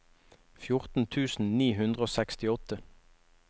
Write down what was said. fjorten tusen ni hundre og sekstiåtte